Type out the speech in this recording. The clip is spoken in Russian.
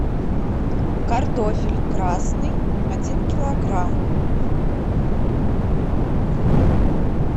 картофель красный один килограмм